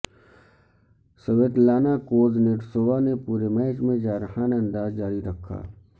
Svetlana Kuznetsova نے پورے match میں جارحانہ انداز جاری رکھا